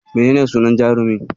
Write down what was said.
Menene sunan jarumin?